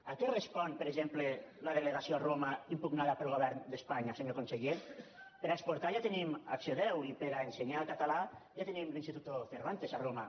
a què respon per exemple la delegació a roma impugnada pel govern d’espanya senyor conseller per a exportar ja tenim acció i per a ensenyar català ja tenim l’instituto cervantes a roma